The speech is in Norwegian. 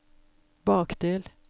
bakdel